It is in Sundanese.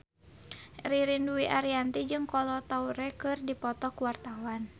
Ririn Dwi Ariyanti jeung Kolo Taure keur dipoto ku wartawan